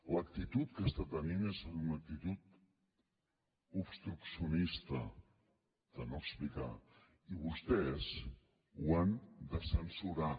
l’actitud que està tenint és una actitud obstruccionista de no explicar i vostès ho han de censurar